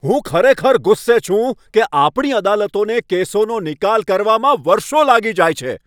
હું ખરેખર ગુસ્સે છું કે આપણી અદાલતોએ કેસોનો નિકાલ કરવામાં વર્ષો લાગી જાય છે.